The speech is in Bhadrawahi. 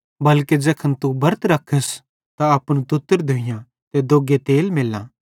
बल्के ज़ैखन तू बरत रखस त अपनू तुत्तर धोइयां ते दोग्गे तेल मेल्लां